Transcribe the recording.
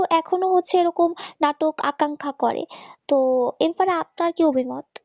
এখনো হচ্ছে এরকম নাটক আকাঙ্ক্ষা করে। তো এরপরে আপনার কি অভিমত